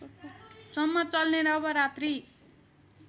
सम्म चल्ने नवरात्रि